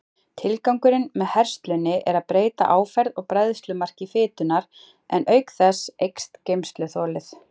Tilgangurinn með herslunni er að breyta áferð og bræðslumarki fitunnar, en auk þess eykst geymsluþolið.